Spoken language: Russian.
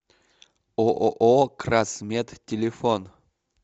ооо красмед телефон